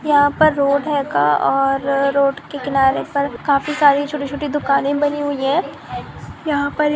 यहा पर रोड है का और रोड के किनारे पर काफी सारी छोटी-छोटी दुकाने बनी हुई है। यहा पर --